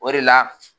O de la